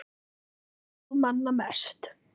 Þá hlóst þú manna mest.